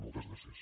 moltes gràcies